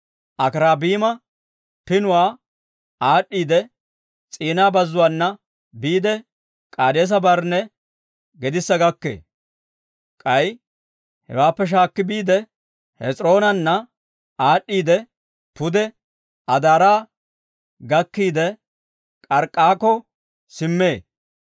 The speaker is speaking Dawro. Akirabiima Pinuwaa aad'd'iidde, S'ina Bazzuwaana biide, K'aadeesa-Barnne gedissa gakkee. K'ay hewaappe shaakki biide, Hes'iroonaana aad'd'iidde, pude Adaara gakkiide, K'ark'k'akko simmee.